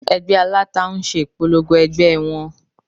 Ẹgbẹ́ aláta ń ṣe ìpolongo ẹgbẹ́ wọn